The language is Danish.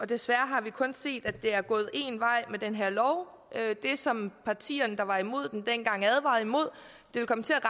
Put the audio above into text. desværre har vi kun set at det er gået én vej med den her lov det som partierne der var imod den dengang advarede imod og